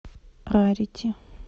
рарити